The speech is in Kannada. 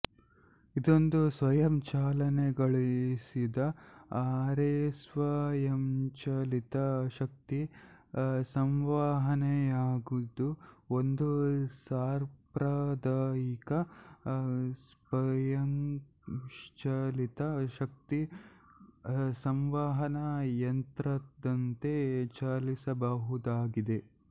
ಇದೊಂದು ಸ್ವಯಂಚಾಲನೆಗೊಳಿಸಿದ ಅರೆಸ್ವಯಂಚಾಲಿತ ಶಕ್ತಿ ಸಂವಹನೆಯಾಗಿದ್ದು ಒಂದು ಸಾಂಪ್ರದಾಯಿಕ ಸ್ವಯಂಚಾಲಿತ ಶಕ್ತಿ ಸಂವಹನಾ ಯಂತ್ರದಂತೆ ಚಾಲಿಸಬಹುದಾಗಿದೆ